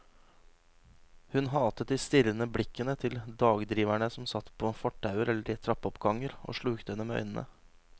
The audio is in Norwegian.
Hun hatet de strirrende blikkende til dagdriverne som satt på fortauer eller i trappeoppganger og slukte henne med øynene.